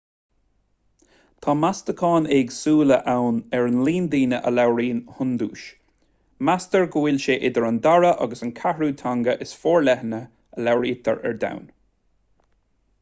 tá meastacháin éagsúla ann ar líon na ndaoine a labhraíonn hiondúis meastar go bhfuil sé idir an dara agus an ceathrú teanga is forleithne a labhraítear ar domhan